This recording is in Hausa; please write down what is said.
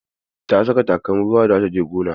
Ta saka takalmin ruwa da za ta je gona.